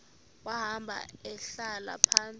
wahamba ehlala phantsi